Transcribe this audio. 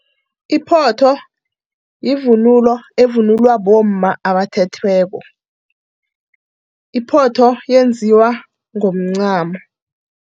Iphotho yivunulo, evunulwa bomma abathethweko. Iphotho yenziwa ngomncamo.